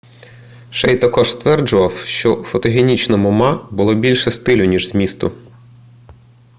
шей також стверджував що у фотогенічному ма було більше стилю ніж змісту